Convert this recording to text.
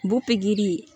Buki di